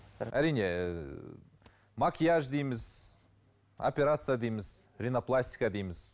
әрине ы макияж дейміз операция дейміз ринопластика дейміз